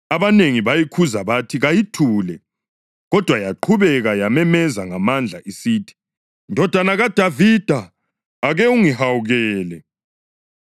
Abanengi bayikhuza bathi kayithule, kodwa yaqhubeka yamemeza ngamandla isithi, “Ndodana kaDavida, ake ungihawukele!”